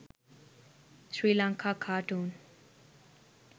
sri lanka cartoon